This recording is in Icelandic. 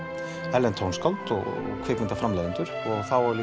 erlend tónskáld og kvikmyndaframleiðendur og þá er